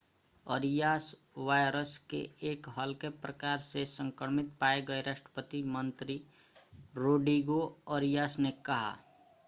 Arias virus के एक हल्के प्रकार से संक्रमित पाए गये राष्ट्रपति मंत्री रोड्रिगो अरियास ने कहा